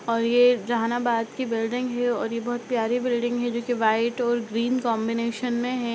और ये जहानाबाद की बिल्डिंग है और ये बहुत प्यारी बिल्डिंग है जो कि व्हाइट और ग्रीन कांबिनेशन में है।